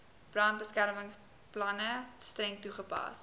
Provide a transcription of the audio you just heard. brandbeskermingsplanne streng toegepas